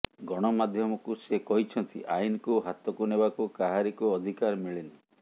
ଗଣମାଧ୍ୟମକୁ ସେ କହିଛନ୍ତି ଆଇନକୁ ହାତକୁ ନେବାକୁ କାହାରିକୁ ଅଧିକାର ମିଳିନି